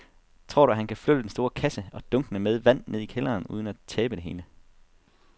Tror du, at han kan flytte den store kasse og dunkene med vand ned i kælderen uden at tabe det hele?